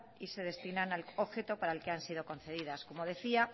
y se destinan al objeto para el que han sido concedidas como decía